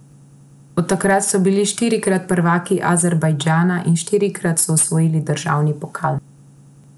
Od takrat so bili štirikrat prvaki Azerbajdžana in štirikrat so osvojili državni pokal.